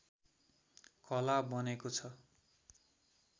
कला बनेको छ